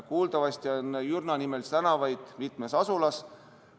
Kuuldavasti on Jürna-nimelisi tänavaid mitmes asulas.